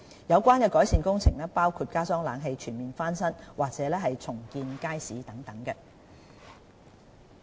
有關改善工程可包括加裝冷氣、全面翻新，甚或重建街市等。